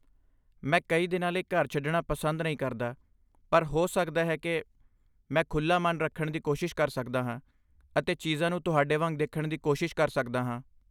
ਮੈਂ ਕਈ ਦਿਨਾਂ ਲਈ ਘਰ ਛੱਡਣਾ ਪਸੰਦ ਨਹੀਂ ਕਰਦਾ ਪਰ ਹੋ ਸਕਦਾ ਹੈ ਕਿ ਮੈਂ ਖੁੱਲ੍ਹਾ ਮਨ ਰੱਖਣ ਦੀ ਕੋਸ਼ਿਸ਼ ਕਰ ਸਕਦਾ ਹਾਂ ਅਤੇ ਚੀਜ਼ਾਂ ਨੂੰ ਤੁਹਾਡੇ ਵਾਂਗ ਦੇਖਣ ਦੀ ਕੋਸ਼ਿਸ਼ ਕਰ ਸਕਦਾ ਹਾਂ।